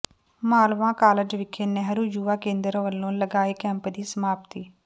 Malwa college ਵਿਖੇ ਨਹਿਰੂ ਯੁਵਾ ਕੇਂਦਰ ਵੱਲੋਂ ਲਗਾਏ ਕੈਂਪ ਦੀ ਸਮਾਪਤੀ